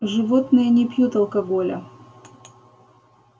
животные не пьют алкоголя